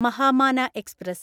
Mahamana express